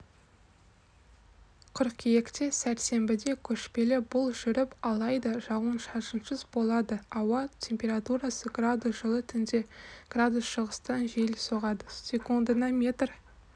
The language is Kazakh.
қыркүйекте сәрсенбіде көшпелі бұл жүріп алайда жауын шашынсыз болады ауа температурасы градус жылы түнде градус шығыстан жел соғады секундына метр